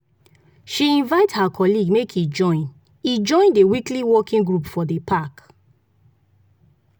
she invite her colleague make e join e join the weekly walking group for the park.